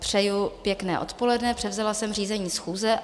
Přeju pěkné odpoledne, převzala jsem řízení schůze.